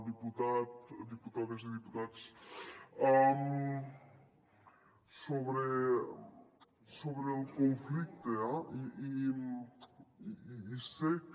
diputat diputades i diputats sobre el conflicte eh